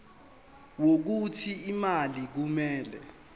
wokuthi imali kumele